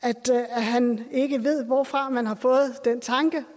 at han ikke ved hvorfra man har fået den tanke